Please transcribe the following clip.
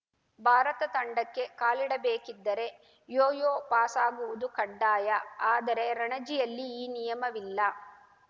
ಭಾರತ ತಂಡಕ್ಕೆ ಕಾಲಿಡಬೇಕಿದ್ದರೆ ಯೋಯೋ ಪಾಸಾಗುವುದು ಕಡ್ಡಾಯ ಆದರೆ ರಣಜಿಯಲ್ಲಿ ಈ ನಿಯಮವಿಲ್ಲ